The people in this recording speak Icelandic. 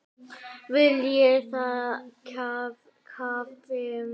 Viljið þið kaffi?